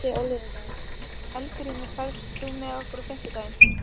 Eldgrímur, ferð þú með okkur á fimmtudaginn?